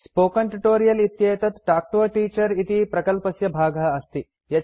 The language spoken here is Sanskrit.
स्पोकेन ट्यूटोरियल् इत्येतत् तल्क् तो a टीचर इति प्रकल्पस्य भागः अस्ति